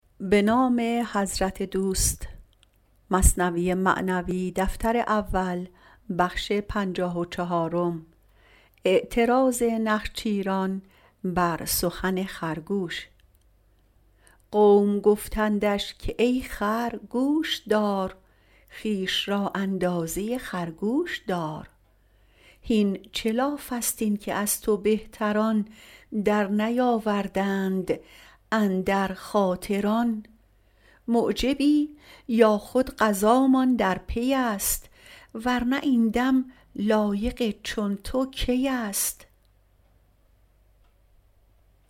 قوم گفتندش که ای خر گوش دار خویش را اندازه خرگوش دار هین چه لافست این که از تو بهتران در نیاوردند اندر خاطر آن معجبی یا خود قضامان در پیست ور نه این دم لایق چون تو کیست